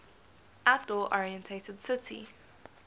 outdoor oriented city